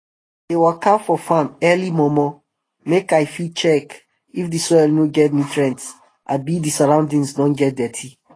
i dey waka for farm early momo make i fit check if d soil no get nutrients abi d surroundings don get dirty